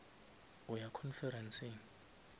o ya conferenceng